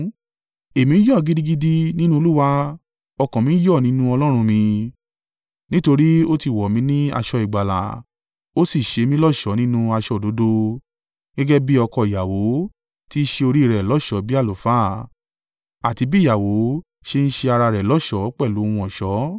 Èmi yọ̀ gidigidi nínú Olúwa; ọkàn mi yọ̀ nínú Ọlọ́run mi. Nítorí ó ti wọ̀ mí ní aṣọ ìgbàlà ó sì ṣe mí lọ́ṣọ̀ọ́ nínú aṣọ òdodo; gẹ́gẹ́ bí ọkọ ìyàwó ti ṣe orí rẹ̀ lọ́ṣọ̀ọ́ bí àlùfáà, àti bí ìyàwó ṣe ń ṣe ara rẹ̀ lọ́ṣọ̀ọ́ pẹ̀lú ohun ọ̀ṣọ́.